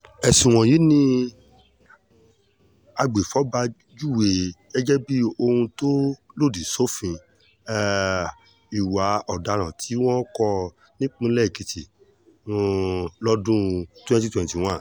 ẹ̀sùn wọ̀nyí ni agbèfọ́ba júwe gẹ́gẹ́ bíi ohun tó lòdì sófin um ìwà ọ̀daràn tí wọn kò nípìnlẹ̀ èkìtì um lọ́dún twenty twenty one